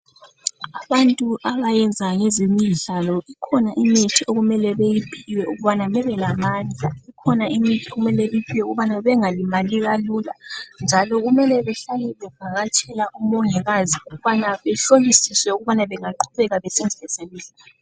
Abantu abayenza ngezemidlalo kukhona imithi okumele beyiphiwe ukubana bebelamandla. Kukhona imithi okumele beyiphiwe ukubana bengalimali kalula njalo kumele behlale bevakatshela umongikazi ukubana behlolisiswe ukubana bengaqhubeka besenza ezemidlalo.